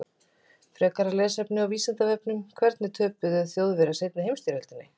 Frekara lesefni á Vísindavefnum: Hvernig töpuðu Þjóðverjar seinni heimsstyrjöldinni?